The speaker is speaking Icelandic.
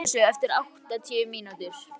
Styr, slökktu á þessu eftir áttatíu mínútur.